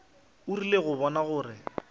o rile go bona gore